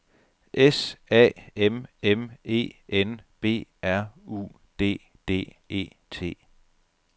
S A M M E N B R U D D E T